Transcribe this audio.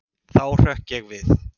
Þá hrökk ég við.